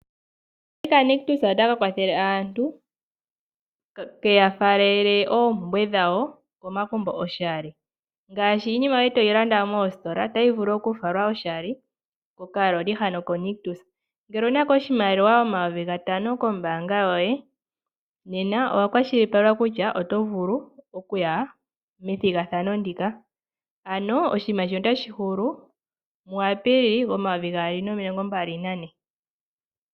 Okaloli konictus otaka kwathele aantu kafale iinima yawo komagumbo oshali ngaashi iinima yoye toyi landa toyi landa moostola. Ngele owunako oshimaliwa shomayovi gatano kombaanga yoye nena owa kwashilipalekwa kuya methigathano ndika notali hulu mu Apilili 2024.